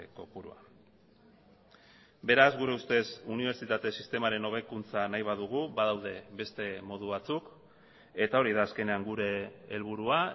kopurua beraz gure ustez unibertsitate sistemaren hobekuntza nahi badugu badaude beste modu batzuk eta hori da azkenean gure helburua